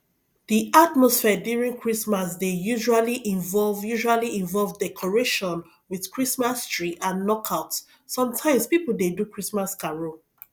di atmosphere during christmas dey usually involve usually involve decoration with christmas tree and knockout some times pipo dey do christmas carol